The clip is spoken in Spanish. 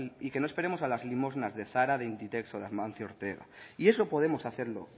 y que no esperemos a las limosnas de zara de inditex o de amancio ortega y eso podemos hacerlo